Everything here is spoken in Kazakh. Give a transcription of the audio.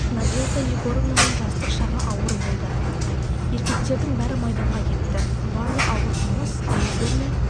надежда егоровнаның жастық шағы ауыр болды еркектердің бәрі майданға кетті барлық ауыр жұмыс әйелдер мен